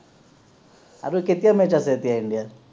আৰু কেতিয়া match আছে এতিয়া India ৰ